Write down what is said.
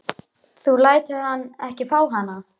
Þú lætur hann ekki fá hana!